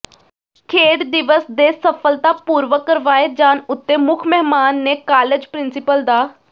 ਖੇਡ ਦਿਵਸ ਦੇ ਸਫਲਤਾ ਪੂਰਵਕ ਕਰਵਾਏ ਜਾਣ ਉੱਤੇ ਮੁੱਖ ਮਹਿਮਾਨ ਨੇ ਕਾਲਜ ਪ੍ਰਿੰਸੀਪਲ ਡਾ